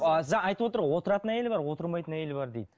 ыыы айтып отыр ғой отыратын әйел бар отырмайтын әйел бар дейді